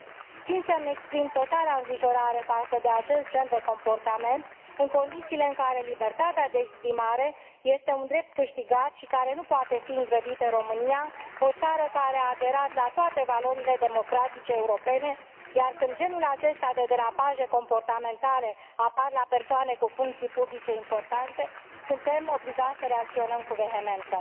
3. Țin să îmi exprim totala îngrijorare față de acest gen de comportament, în condițiile în care libertatea de exprimare este un drept câștigat și care nu poate fi îngrădit în România, o țară care a aderat la toate valorile democratice europene, iar când genul acesta de derapaje comportamentale apar la persoane cu funcții publice importante, suntem obligați să reacționăm cu vehemență.